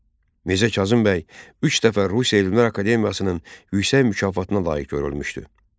Mirzə Kazım bəy üç dəfə Rusiya Elmlər Akademiyasının yüksək mükafatına layiq görülmüşdü.